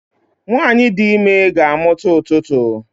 nwanyi di ime ga-amuta ututu